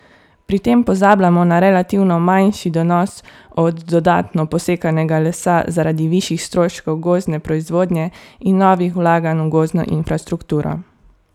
Pri tem pozabljamo na relativno manjši donos od dodatno posekanega lesa zaradi višjih stroškov gozdne proizvodnje in novih vlaganj v gozdno infrastrukturo.